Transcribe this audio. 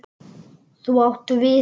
Þú átt við.